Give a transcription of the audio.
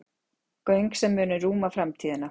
Göng sem munu rúma framtíðina